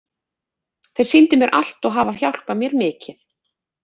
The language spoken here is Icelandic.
Þeir sýndu mér allt og hafa hjálpað mér mikið.